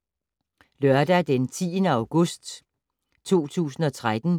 Lørdag d. 10. august 2013